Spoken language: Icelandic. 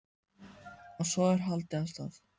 Og svo er haldið af stað.